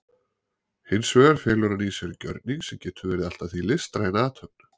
Hins vegar felur hann í sér gjörning sem getur verið allt að því listræn athöfn.